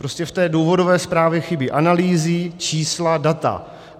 Prostě v té důvodové zprávě chybí analýzy, čísla, data.